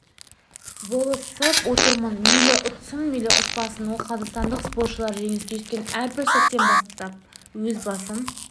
болысып отырамын мейлі ұтсын мейлі ұтпасын ал қазақстандық спортшылар жеңіске жеткен әрбір сәттен өз басым